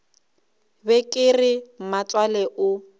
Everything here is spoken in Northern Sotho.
be ke re mmatswale o